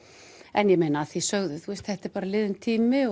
en ég meina að því sögðu þá er þetta bara liðinn tími